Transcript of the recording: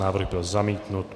Návrh byl zamítnut.